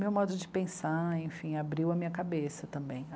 Meu modo de pensar, enfim, abriu a minha cabeça também.